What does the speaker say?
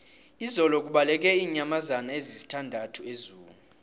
izolo kubaleke iinyamazana ezisithandathu ezoo